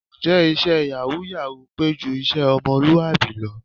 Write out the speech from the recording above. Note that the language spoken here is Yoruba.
Ǹjẹ́ iṣẹ́ yàwúù-yàwúù pé ju iṣẹ́ ọmọlúwàbí lọ?